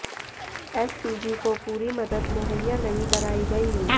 SPG को पूरी मदद मुहैया नहीं कराई गई